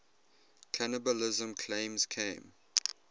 cannibalism claims came